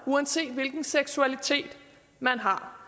uanset hvilken seksualitet man har